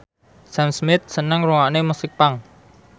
Sam Smith seneng ngrungokne musik punk